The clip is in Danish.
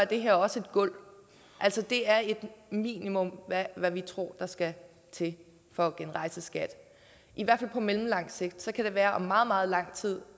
det her også et gulv altså det er et minimum af hvad vi tror der skal til for at genrejse skat i hvert fald på mellemlang sigt så kan det være om meget meget lang tid